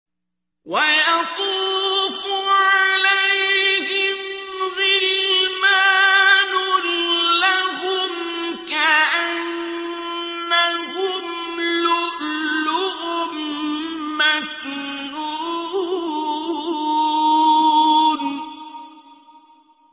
۞ وَيَطُوفُ عَلَيْهِمْ غِلْمَانٌ لَّهُمْ كَأَنَّهُمْ لُؤْلُؤٌ مَّكْنُونٌ